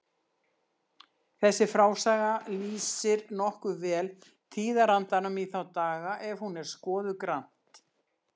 Þessi frásaga lýsir nokkuð vel tíðarandanum í þá daga ef hún er skoðuð grannt.